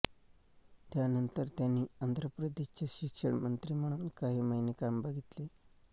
त्यानंतर त्यांनी आंध्र प्रदेशचे शिक्षणमंत्री म्हणून काही महिने काम बघितले